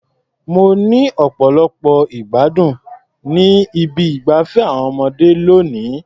Mo ní ọ̀pọ̀lọpọ̀ ìgbádùn ní ibi ìgbafé àwọn ọmọdé lónìí.